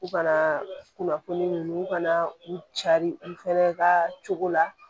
U kana kunnafoni ninnu ka na u cari u fana ka cogo la